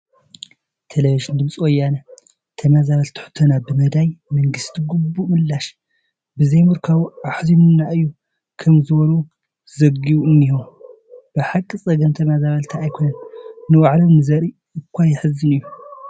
ቴለብዥን ድምፂ ወያነ ተመዛበልቲ ሕቶና ብመዳይ መንግስቲ ግቡእ ምላሽ ብዘይምርካቡ ኣሕዚኑና እዩ ከምዝበሉ ዘጊቡ እኒሀ፡፡ ብሓቂ ፀገም ተመዛበልቲ ኣይኮነን ንባዕሎም ንዝርኢ እዃ የሕዝን እዩ፡፡